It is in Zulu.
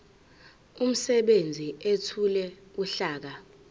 umsebenzi ethule uhlaka